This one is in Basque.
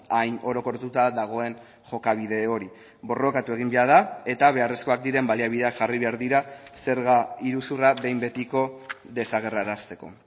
hain orokortuta dagoen jokabide hori borrokatu egin behar da eta beharrezkoak diren baliabideak jarri behar dira zerga iruzurra behin betiko desagerrarazteko